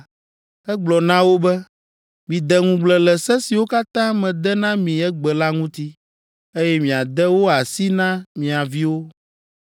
egblɔ na wo be, “Mide ŋugble le se siwo katã mede na mi egbe la ŋuti, eye miade wo asi na mia viwo.